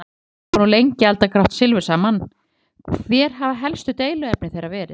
Guðný: Þeir hafa nú lengi eldað grátt silfur saman, hver hafa helstu deiluefni þeirra verið?